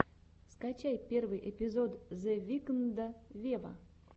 скачай первый эпизод зе викнда вево